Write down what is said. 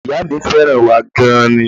Ìyá mi fẹ́ràn wa gan an ni